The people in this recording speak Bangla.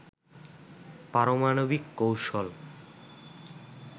পারমাণবিক কৌশল